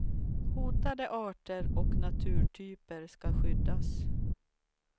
Hotade arter och naturtyper skall skyddas.